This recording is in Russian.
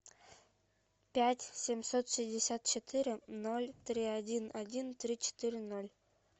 пять семьсот шестьдесят четыре ноль три один один три четыре ноль